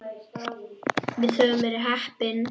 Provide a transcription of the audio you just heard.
Við höfum verið heppin.